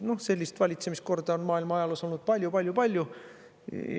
Noh, sellist valitsemiskorda on maailma ajaloos olnud palju-palju-palju.